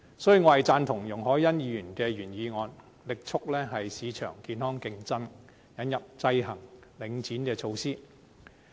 所以，我贊同容海恩議員的原議案，力促市場健康競爭，引入制衡領展的措施。